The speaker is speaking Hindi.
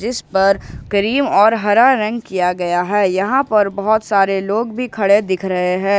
इस पर क्रीम और हरा रंग किया गया है यहां पर बहोत सारे लोग भी खड़े दिख रहे हैं।